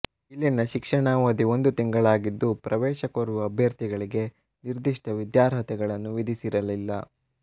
ಇಲ್ಲಿನ ಶಿಕ್ಷಣ ಅವಧಿ ಒಂದು ತಿಂಗಳಾಗಿದ್ದು ಪ್ರವೇಶ ಕೋರುವ ಅಭ್ಯರ್ಥಿಗಳಿಗೆ ನಿರ್ದಿಷ್ಟ ವಿದ್ಯಾರ್ಹತೆಗಳನ್ನು ವಿಧಿಸಿರಲಿಲ್ಲ